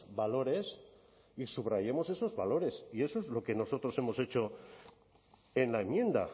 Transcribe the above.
valores y subrayemos esos valores y eso es lo que nosotros hemos hecho en la enmienda